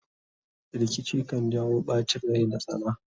rikici kan jawo ɓacin Rai da tsana